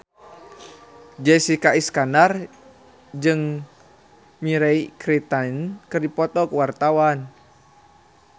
Jessica Iskandar jeung Mirei Kiritani keur dipoto ku wartawan